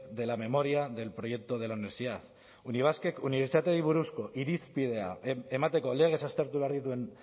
de la memoria del proyecto de la universidad unibasq ek unibertsitateei buruzko irizpidea emateko legez aztertu behar dituen